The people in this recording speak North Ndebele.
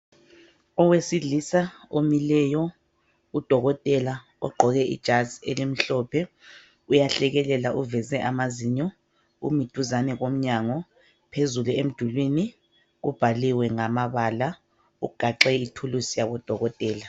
Owesilisa omileyo udokotela ogqoke ijazi elimhlophe uyahlekelela uveze amazinyo umi duzane komnyango .Phezulu emdulini kubhaliwe ngamabala ugaxe ithulusi yabo dokotela .